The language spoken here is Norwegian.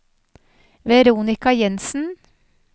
Veronika Jenssen